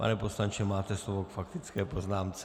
Pane poslanče, máte slovo k faktické poznámce.